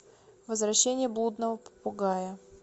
возвращение блудного попугая